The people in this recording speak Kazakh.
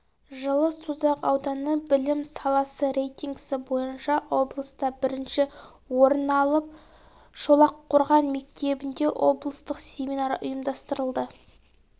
жылы созақ ауданы білім саласы рейтингісі бойынша облыста бірінші орын алып шолаққорған мектебінде облыстық семинар ұйымдастырылды